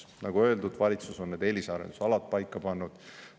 Nagu öeldud, valitsus on need eelisarendusalad paika pannud.